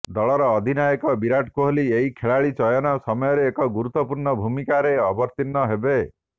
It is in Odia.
ଦଳର ଅଧିନାୟକ ବିରାଟ କୋହଲୀ ଏହି ଖେଳାଳି ଚୟନ ସମୟରେ ଏକ ଗୁରୁତ୍ୱପୂର୍ଣ୍ଣ ଭୂମିକାରେ ଅବତୀର୍ଣ୍ଣ ହେବେ